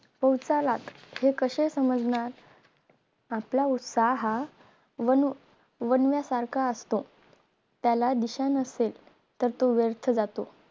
पौसालाच हे कसे समजणार आपला उत्साह हा वणू वन्यसारखा असतो त्याला दिशा नसेल तर तो व्यर्थ जातो